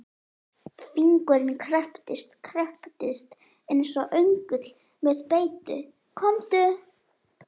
Fingurinn krepptist, krepptist eins og öngull með beitu, komdu.